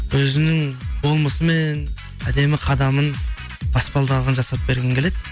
өзінің болмысымен әдемі қадамын баспалдағын жасап бергім келеді